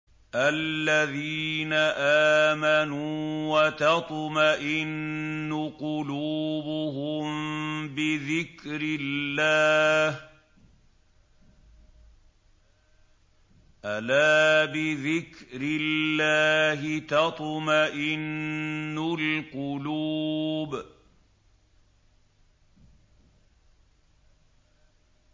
الَّذِينَ آمَنُوا وَتَطْمَئِنُّ قُلُوبُهُم بِذِكْرِ اللَّهِ ۗ أَلَا بِذِكْرِ اللَّهِ تَطْمَئِنُّ الْقُلُوبُ